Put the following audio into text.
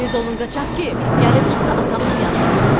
Tez olun qaçaq ki, gəlib tutsa atamızı yandıracaq.